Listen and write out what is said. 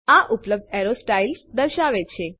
આ ઉપલબ્ધ arrow styles દર્શાવે છે